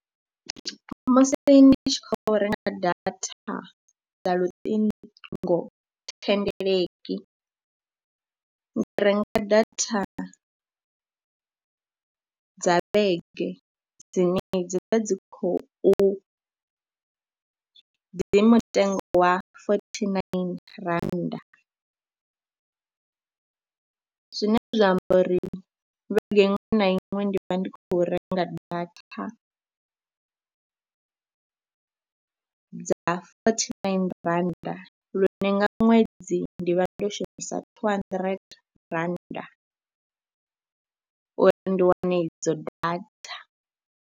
Musi ndi tshi khou renga data dza luṱingothendeleki, ndi renga data dza ṱethi dzine dzi vha dzi khou, dzi mutengo wa fothi naini rannda zwine zwa amba uri vhege iṅwe na iṅwe ndi vha ndi khou renga data dza fothi naini rannda lune nga ṅwedzi ndi vha ndo shumisa thuu handirente rannda uri ndi wane idzo data.